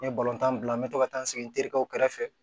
N ye tan bila n bɛ to ka taa n sigi n terikɛw kɛrɛfɛ